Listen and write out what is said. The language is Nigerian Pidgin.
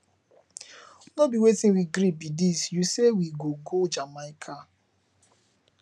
no be wetin we gree be dis you say we go go jamaica